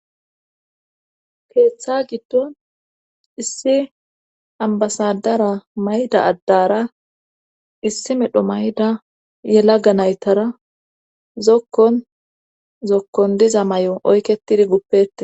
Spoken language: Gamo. keeththa giddon issi ambasadara mayda addara issi medho may7da yelaga naytara zokkon zokkon diza may7o oyketidi guppete